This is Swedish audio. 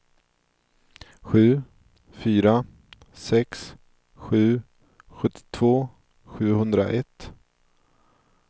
sju fyra sex sju sjuttiotvå sjuhundraett